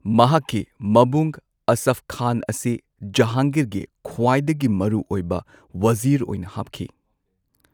ꯃꯍꯥꯛꯀꯤ ꯃꯕꯨꯡ ꯑꯁꯐ ꯈꯥꯟ ꯑꯁꯤ ꯖꯍꯥꯡꯒꯤꯔꯒꯤ ꯈ꯭ꯋꯥꯏꯗꯒꯤ ꯃꯔꯨꯑꯣꯏꯕ ꯋꯖꯤꯔ ꯑꯣꯏꯅ ꯍꯥꯞꯈꯤ꯫